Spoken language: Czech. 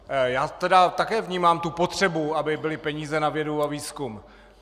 Já tedy také vnímám tu potřebu, aby byly peníze na vědu a výzkum.